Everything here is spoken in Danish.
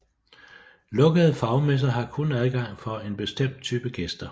Lukkede fagmesser har kun adgang for en bestemt type gæster